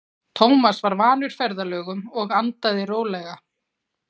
Tómas var vanur ferðalögum og andaði rólega.